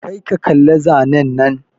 Kar ka kalla zanen nan!